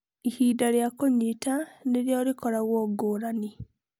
Ihinda rĩa kũnyita nĩrĩo rĩkoragũo ngũrani.